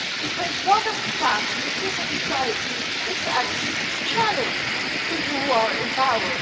Because one of the tasks of civil society is to actually challenge people who are in power.